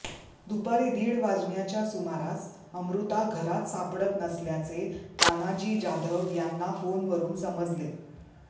दुपारी दीड वाजण्याच्या सुमारास अमृता घरात सापडत नसल्याचे तानाजी जाधव यांना फोनवरून समजले